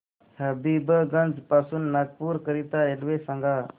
हबीबगंज पासून नागपूर करीता रेल्वे सांगा